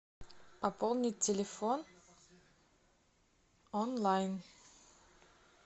пополнить телефон онлайн